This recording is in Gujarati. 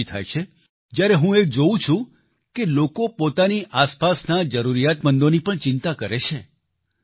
મને ખુશી થાય છે જ્યારે હું એ જોવું છું કે લોકો પોતાની આસપાસના જરૂરિયાતમંદોની પણ ચિંતા કરે છે